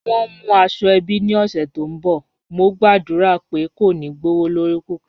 Wọ́n ń mú àṣọ-èbí ní ọṣẹ̀ tó nbọ̀, mò gba'dúra pé kò ní gbọwọ̀lọrí púpọ̀.